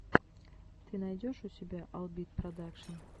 ты найдешь у себя албит продакшн